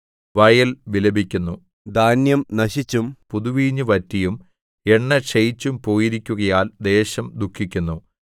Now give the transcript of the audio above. വയൽ വിലപിക്കുന്നു ധാന്യം നശിച്ചും പുതുവീഞ്ഞ് വറ്റിയും എണ്ണ ക്ഷയിച്ചും പോയിരിക്കുകയാൽ ദേശം ദുഃഖിക്കുന്നു